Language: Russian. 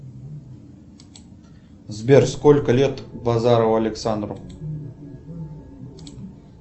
сбер сколько лет базарову александру